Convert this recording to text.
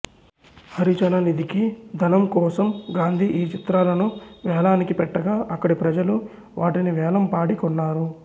హరిజన నిధికి ధనం కోసం గాంధీ ఈ చిత్రాలను వేలానికి పెట్టగా అక్కడి ప్రజలు వాటిని వేలం పాడి కొన్నారు